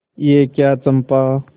यह क्या चंपा